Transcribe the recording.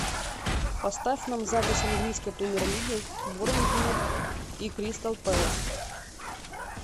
поставь нам запись английской премьер лиги борнмут и кристал пэлас